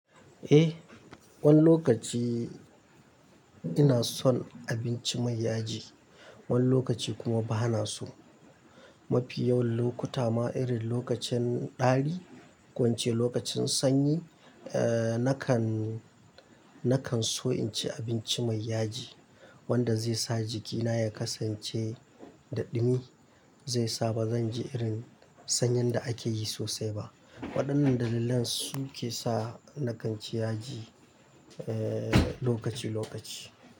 Eh, wani lokaci ina son abinci mai yaji, wani lokaci kuma bana so. Mafi yawan lokuta ma irin lokacin ɗari, ko ince lokacin sanyi, eh nakan, nakan so in ci abinci mai yaji wanda zai sa jikina ya kasance da ɗumi, zai sa ba zan ji irin sanyin da ake yi sosai ba. Waɗannan dalilan su ke sa nakan ci yaji eh lokaci lokaci.